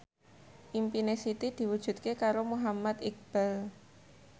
impine Siti diwujudke karo Muhammad Iqbal